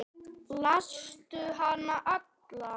Lastu hana alla?